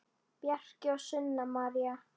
Bjarki og Sunna María.